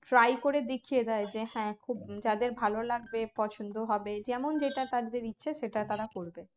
try করে দেখিয়ে দেয় যে হ্যাঁ খুব যাদের ভালো লাগবে পছন্দও হবে যেমন যেটা তাদের ইচ্ছা সেটা তারা করবে